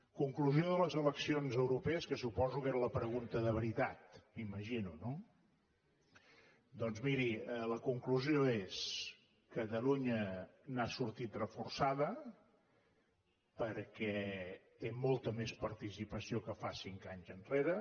conclusió de les eleccions europees que suposo que era la pregunta de veritat m’imagino no doncs miri la conclusió és catalunya n’ha sortit reforçada perquè té molta més participació que fa cinc anys enrere